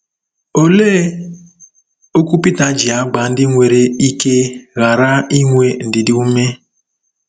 Olee okwu Pita ji agba ndị nwere ike ghara inwe ndidi ume?